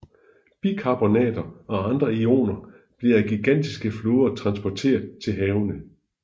Bikarbonater og andre ioner blev af gigantiske floder transporteret til havene